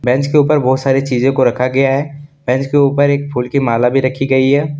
Bench के ऊपर बहुत सारी चीजे को रखा गया है बेंच के ऊपर एक फूल की माला भी रखी गई है।